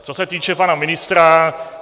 Co se týče pana ministra.